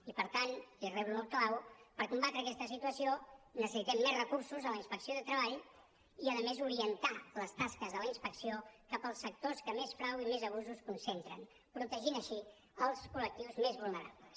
i per tant i reblo el clau per combatre aquesta situació necessitem més recursos en la inspecció de treball i a més orientar les tasques de la inspecció cap als sectors que més frau i més abusos concentren protegint així els col·lectius més vulnerables